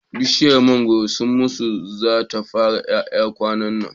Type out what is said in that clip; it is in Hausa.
Bishiyar mangoron su musa za ta fara ƴaƴa kwanannan